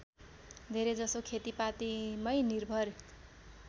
धेरैजसो खेतिपातीमै निर्भर